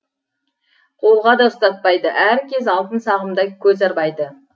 қолға да ұстатпайды әркез алтын сағымдай көз арбайды